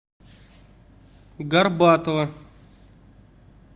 горбатова